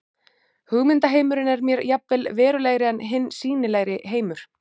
Hugmyndaheimurinn er mér jafnvel verulegri en hinn sýnilegi heimur.